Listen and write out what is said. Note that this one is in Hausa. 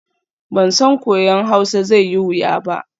Ban san koyon Hausa zai yi wuya ba.